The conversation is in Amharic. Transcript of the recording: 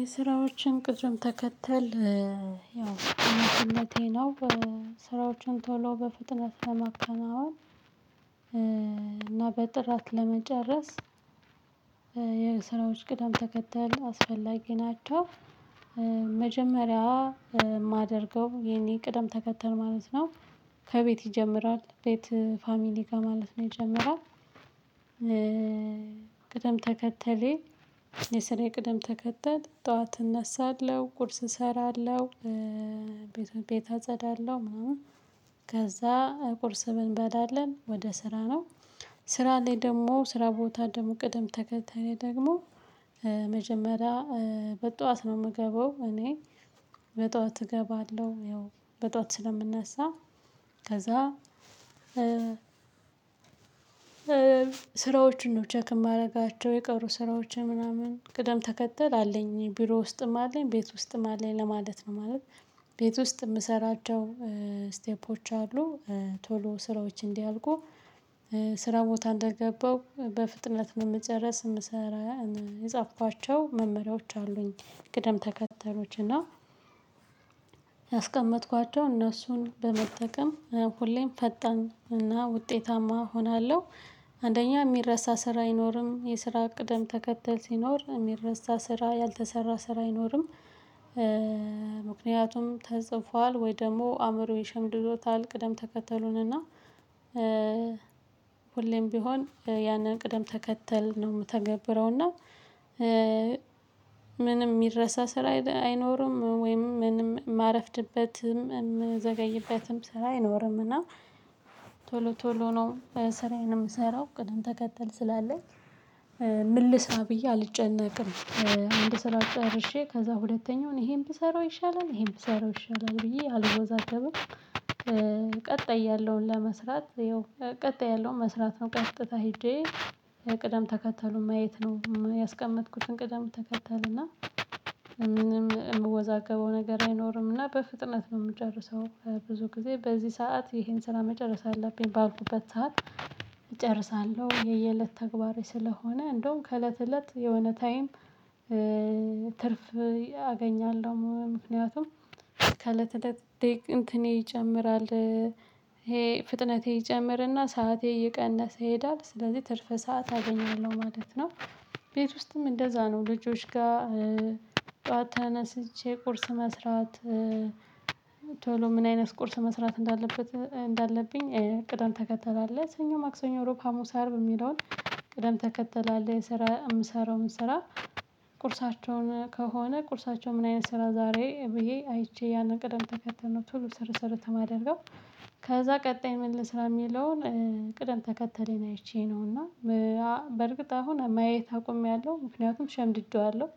የስራዎችን ቅደም ተከተል ያው አስፈላጊ ነው ስራዎችን ቶሎ በፍጥነት ለማከናወን እና በጥራት ለመጨረስ የስራዎች ቅደም ተከተል አስፈላጊ ናቸው። መጀመሪያ የማደርገው የኔ ቅደም ተከተል ማለት ነው ከቤት ይጀምራል። ቤት ፋሚሊ ጋር ማለት ነው ይጀምራል። ቅደም ተከተሌ የስራ ቅደም ተከተል ጠዋት እነሳለሁ፤ ቁርስ እሰራለ፤ ሁ ቤት ቤት አጸዳለሁ ምናምን ከዛ ቁርስ እንበላለን ወደ ስራ ነው። ስራ ላይ ደግሞ ስራ ቦታ ደግሞ ቅደም ተከተሌ ደግሞ መጀመሪያ በጠዋት ነው የምገባው እኔ በጠዋት እገባለሁ። ያው በጧት ስለምነሳ ከዛ ስራዎችን ነው ቼክ የማደርጋቸው የቀሩ ስራዎችን ምናምን ቅደም ተከተል አለኝ ቢሮ ውስጥም አለኝ፤ ቤት ውስጥም አለኝ ለማለት ነው ማለት ቤት ውስጥ የምሰራቸው ስቴፖች አሉ ቶሎ ስራዎች እንዲያልቁ ስራ ቦታ እንደገባው በፍጥነት ነው የምጨርስ የምሰራ የጻፋቸው መመሪያዎች አሉኝ ቅደም ተከተሎች እና ያስቀመጥኳቸው እነሱን በመጠቀም ሁሌም ፈጣን እና ውጤታማ እሆናለሁ። አንደኛ የሚረሳ ስራ አይኖርም። የስራ ቅደም ተከተል ሲኖር የሚረሳ ስራ ያልተሰራ ስራ አይኖርም። ምክንያቱም ተጽፏል ወይ ደግሞ አእምሮዬ ሸምድዶታል ቅደም ተከተሉን እና ሁሌም ቢሆን ያንን ቅደም ተከተል ነው የምተገብረው እና ምንም የሚረሳ ስራ አይኖርም ወይም ምንም የማረፍድበትም የምዘገይበትም ስራ አይኖርምና ቶሎ ቶሎ ነው ስራዬን የምሰራው ቅድም ተከተል ስላለኝ ምን ልስራ ብዬ አልጨነቅም። አንድ ስራ ጨርሼ ከዛ ሁለተኛውን ይሄን ብሰራው ይሻላል ይሄን ብሰራው ይሻላል ብዬ አልወዛገብም። ቀጣይ ያለውን ለመስራት ይኸው ቀጣይ ያለውን መስራት ነው ቀጥታ ሄጄ ቅደም ተከተሉን ማየት ነው ያስቀመጥኩትን ቅደም ተከተል እና ምንም የምወዛገበው ነገር አይኖርም እና በፍጥነት ነው የምጨርሰው ብዙ ጊዜ በዚህ ሰዓት ይሄን ስራ መጨረስ አለብኝ ባልኩበት ሰዓት እጨርሳለሁ። የየእለት ተግባሬ ስለሆነ እንደውም ከእለት እለት የሆነ ታይም ትርፍ አገኛለሁ ምክንያቱም ከለት ለት እንትኔ ይጨምራል። ይሄ ፍጥነቴ ይጨምርና ሰዓቴ እነሰ ይሄዳል። ስለዚህ ትርፍ ሰዓት አገኛለሁ ማለት ነው። ቤት ውስጥም እንደዛ ነው ልጆች ጋር ጠዋት ተነስቼ ቁርስ መስራት ቶሎ ምን አይነት ቁርስ መስራት እንዳለበት እንዳለብኝ ቅዳም ተከተል አለ ሰኞ፣ ማክሰኞ፣ ሮብ፣ ሀሙስ፣ አርብ በሚለውን ቅደም ተከተል አለ የሰራ የምሰራው ስራ ቁርሳቸውን ከሆነ ቁርሳቸው ምን አይነት ስራ ዛሬ ብዬ አይቼ ያንን ቅደም ተከተል ነው ቶሎ ስርት ስርት የማደርገው ከዛ ቀጣይ ምን ልስራ የሚለውን ቅደም ተከተሌን አይቼ ነው እና በእርግጥ አሁን ማየት አቆምያለሁ ምክንያቱም ሸምድጄዋለሁ